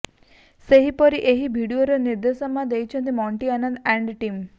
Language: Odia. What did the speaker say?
ସେହିପରି ଏହି ଭିଡିଓର ନିର୍ଦ୍ଦେଶନା ଦେଇଛନ୍ତି ମଣ୍ଟି ଆନନ୍ଦ ଆଣ୍ଡ ଟିମ୍